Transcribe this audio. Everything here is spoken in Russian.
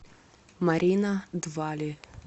марина двали